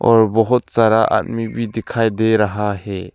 और बहुत सारा आदमी भी दिखाई दे रहा है।